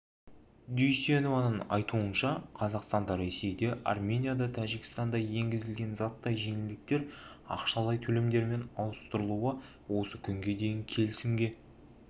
дүйсенованың айтуынша қазақстанда ресейде арменияда тәжікстанда енгізілген заттай жеңілдіктер ақшалай төлемдермен ауыстырылуы осы күнге дейін келісімге